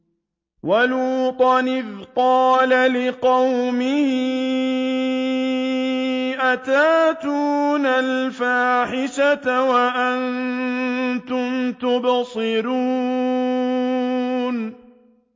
وَلُوطًا إِذْ قَالَ لِقَوْمِهِ أَتَأْتُونَ الْفَاحِشَةَ وَأَنتُمْ تُبْصِرُونَ